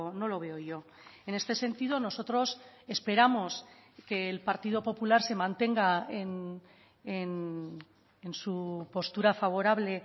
no lo veo yo en este sentido nosotros esperamos que el partido popular se mantenga en su postura favorable